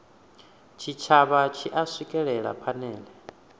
tshitshavha tshi a swikelela phanele